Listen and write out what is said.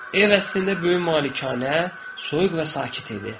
Ev əslində böyük malikanə, soyuq və sakit idi.